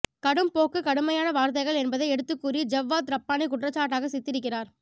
கடும் போக்கு கடுமையான வார்த்தைகள் என்பதை எடுத்துக்கூறி ஜவ்வாத் ரப்பானி குற்றச்சாட்டாக சித்தரிக்கிறார்